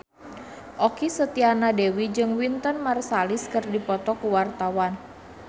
Okky Setiana Dewi jeung Wynton Marsalis keur dipoto ku wartawan